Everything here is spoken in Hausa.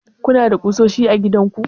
kuna da ƙusoshi a gidanku?